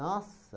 Nossa!